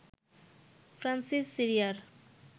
Francis সিরিয়ার